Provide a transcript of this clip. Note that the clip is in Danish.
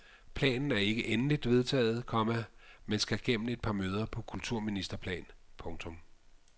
Planen er ikke endeligt vedtaget, komma men skal gennem et par møder på kulturministerplan. punktum